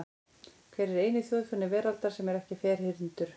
Hver er eini þjóðfáni veraldar sem er ekki ferhyrndur?